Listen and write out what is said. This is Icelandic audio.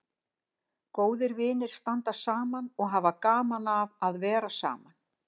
Góðir vinir standa saman og hafa gaman af að vera saman.